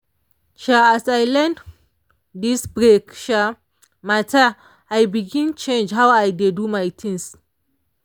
um as i learn this break um matter i begin change how i dey do my things